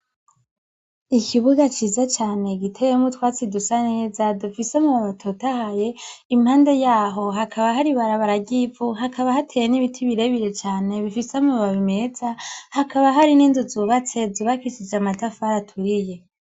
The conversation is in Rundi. Ikibuga ciza cane giteyemwo utwatsi dusaneza dufise amabarabara atotaye impande yaho hakaba hari ibarabara ryivu hakaba hateye nibiti birebire cane bifise amababi meza hakaba hari ninzu zubatse zubakishije amatafari aturiye